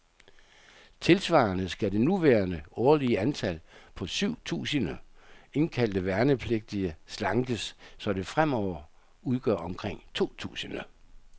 Tilsvarende skal det nuværende årlige antal, på syv tusinde indkaldte værnepligtige, slankes, så det fremover udgør omkring to tusinde.